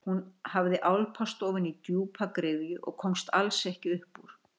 Hún hafði álpast ofan í djúpa gryfju og komst alls ekki upp úr.